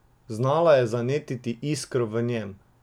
Znala je zanetiti iskro v njem.